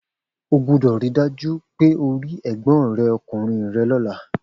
O gbúdọ̀ ri dájú pe o ri Ẹ̀gbọ́n rẹ ọkùnrin rẹ lọ́la